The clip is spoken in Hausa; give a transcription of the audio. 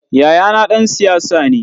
Yayana ɗan siyasa ne.